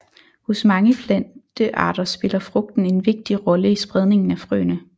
Hos mange plantearter spiller frugten en vigtig rolle i spredningen af frøene